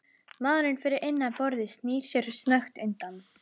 Maðurinn fyrir innan borðið snýr sér snöggt undan.